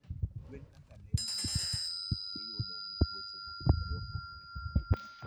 Gwen kaka le mamoko, iyudo gi tuoche mopogore opogore